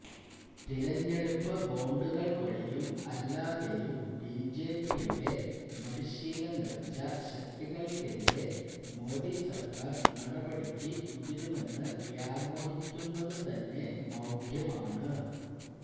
തെരഞ്ഞെടുപ്പ് ബോണ്ടുകൾ വഴിയും അല്ലാതെയും ബിജെപിയുടെ മടിശ്ശീല നിറച്ച ശക്തികൾക്കെതിരെ മോഡി സർക്കാർ നടപടിക്ക് മുതിരുമെന്ന് വ്യാമോഹിക്കുന്നതു തന്നെ മൌഢ്യമാണ്